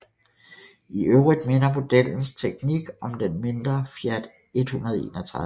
I øvrigt minder modellens teknik om den mindre Fiat 131